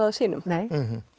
að sínum nei